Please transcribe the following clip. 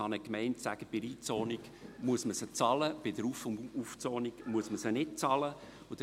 Eine Gemeinde kann sagen, dass man diese bei einer Einzonung bezahlen muss, bei einer Aufzonung nicht.